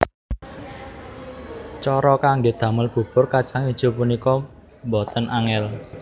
Cara kanggé damel bubur kacang ijo punika boten angèl